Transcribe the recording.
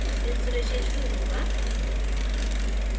installation शुरू होगा